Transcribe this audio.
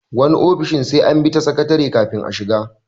Wasu ofishin sai an bi ta sakatare kafin a shiga.